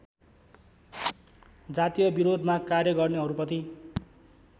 जातीयविरोधमा कार्य गर्नेहरूप्रति